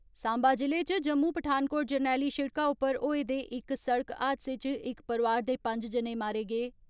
साम्बा जि'ले च जम्मू पठानकोट जरनैली सिड़का उप्पर होए दे इक सड़क हादसे च इक परिवार दे पंज जने मारे गे।